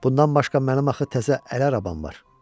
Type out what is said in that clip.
Bundan başqa mənim axı təzə əl arabam var.